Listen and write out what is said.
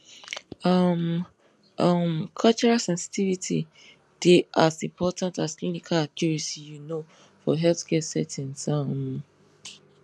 um um cultural sensitivity dey as important as clinical accuracy you know for healthcare settings um